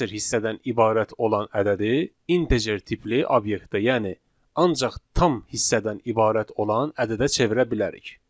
Kəsr hissədən ibarət olan ədədi integer tipli obyektə, yəni ancaq tam hissədən ibarət olan ədədə çevirə bilərik.